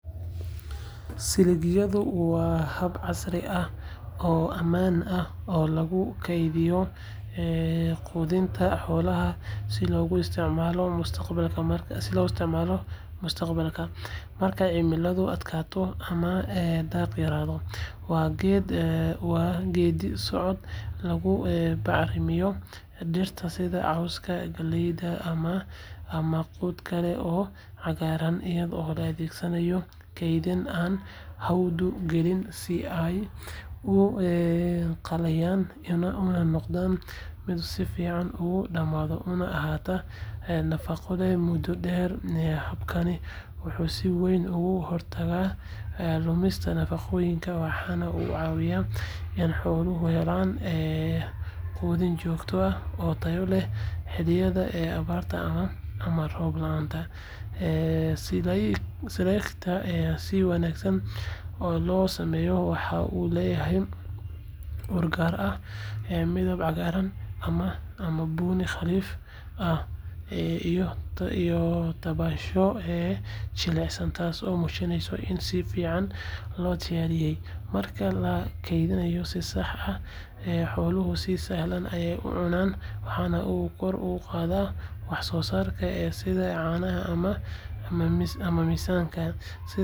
Silaydhigu waa hab casri ah oo ammaan ah oo lagu kaydiyo quudinta xoolaha si loogu isticmaalo mustaqbalka marka cimiladu adkaato ama daaqa yaraado. Waa geeddi-socod lagu bacrimiyo dhirta sida cawska, galleyda, ama quud kale oo cagaaran iyadoo la adeegsanayo kaydin aan hawadu gelin si ay u qalleeyaan una noqdaan mid si fiican u dhadhamiya una ahaata nafaqo leh muddo dheer. Habkani wuxuu si weyn uga hortagaa lumista nafaqooyinka, waxaana uu caawiyaa in xooluhu helaan quudin joogto ah oo tayo leh xilliyada abaarta ama roob la’aanta. Silaydhka si wanaagsan loo sameeyay waxa uu leeyahay ur gaar ah, midab cagaaran ama bunni khafiif ah, iyo taabasho jilicsan taasoo muujinaysa in si fiican loo diyaariyay. Marka la kaydiyo si sax ah, xooluhu si sahlan ayay u cunaan, waxaana uu kor u qaadaa wax-soosaarkooda sida caanaha ama miisaanka. Sidaas darteed, silaydhku waa hab waxtar leh oo nabdoon oo ay beeraleyda iyo xoolo-dhaqatadu ku kalsoonaan karaan si ay u ilaashaan quudkooda una kobciyaan.